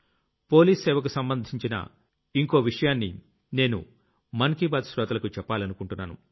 police సేవకు సంబంధించిన ఇంకో విషయాన్ని నేను మనసులో మాట శ్రోతలకు చెప్పాలనుకుంటున్నాను